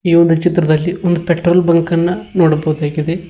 ಈ ಒಂದು ಚಿತ್ರದಲ್ಲಿ ಒಂದು ಪೆಟ್ರೋಲ್ ಬಂಕ್ ಅನ್ನ ನೋಡಬಹುದಾಗಿದೆ.